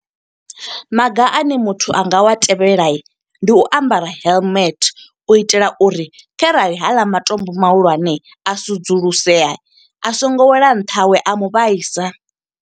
Maga ane muthu anga wa tevhela, ndi u ambara helmet. U itela uri kharali haaḽa matombo mahulwane a sedzulusea, a songo wela nṱha hawe a mu vhaisa.